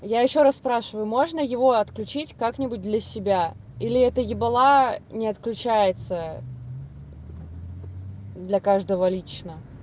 я ещё раз спрашиваю можно его отключить как-нибудь для себя или это ебала не отключается для каждого лично